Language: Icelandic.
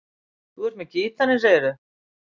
Þú ert með gítarinn, segirðu?